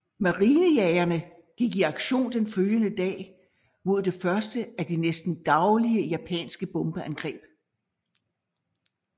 Marinejagerne gik i aktion den følgende dag mod det første af de næsten daglige japanske bombeangreb